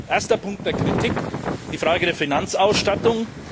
Erster Punkt der Kritik die Frage der Finanzausstattung.